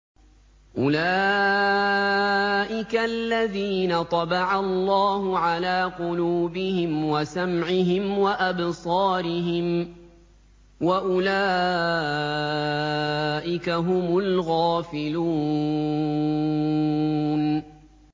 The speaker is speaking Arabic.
أُولَٰئِكَ الَّذِينَ طَبَعَ اللَّهُ عَلَىٰ قُلُوبِهِمْ وَسَمْعِهِمْ وَأَبْصَارِهِمْ ۖ وَأُولَٰئِكَ هُمُ الْغَافِلُونَ